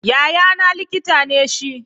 Yayana likita ne shi.